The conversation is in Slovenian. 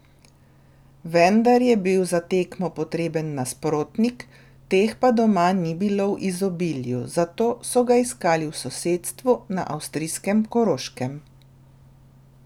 Vendar je bil za tekmo potreben nasprotnik, teh pa doma ni bilo v izobilju, zato so ga iskali v sosedstvu, na avstrijskem Koroškem.